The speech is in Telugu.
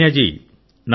లావణ్య జీ